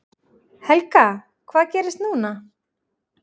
Helga: Hvað gerist núna?